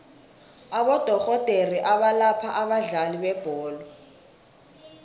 abodorhodere abalapha abadlali bebholo